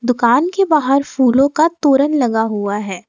दुकान के बाहर फूलों का तोरण लगा हुआ है।